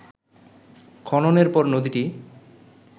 খননের পর নদীটি